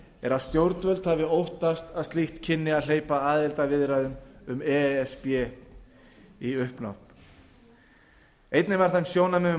er að stjórnvöld hafi óttast að slíkt kynni að hleypa aðildarviðræðum um e s b í uppnám einnig var þeim sjónarmiðum